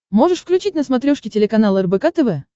можешь включить на смотрешке телеканал рбк тв